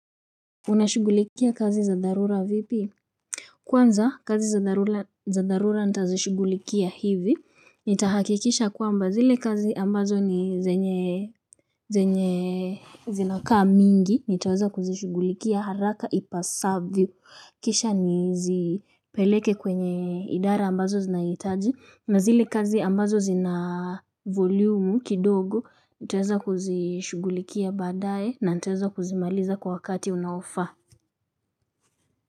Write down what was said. Unashugulikia kazi za dharura vipi. Kwanza kazi za dharura nitazishugulikia hivi nitahakikisha kwamba zile kazi ambazo ni zenye zenye zinaka mingi nitaweza kuzishugulikia haraka ipasavyo kisha nizipeleke kwenye idara ambazo zinaitaji na zile kazi ambazo zina volumu kidogo nitaweza kuzishugulikia badae na nitaweza kuzimaliza kwa wakati unaofa. Kwa hiyo.